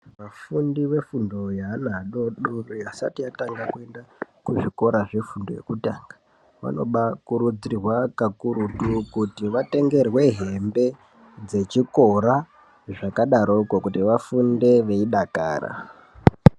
Vafundi vefundo yeana adoodori, vasati vatanga kuenda kuzvikora zvefundo yekutanga. Vanobaakurudzirwa kakurutu kuti vatengerwe heembe dzechikora, zvakadaroko kuti vafunde veidakara.